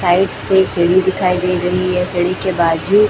side से सीढ़ी दिखाई दे रही है सीढ़ी के बाजू--